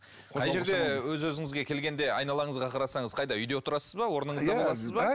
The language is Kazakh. қай жерде өз өзіңізге келгенде айналаңызға қарасаңыз қайда үйде отырасыз ба орныңызда боласыз ба